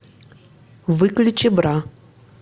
выключи бра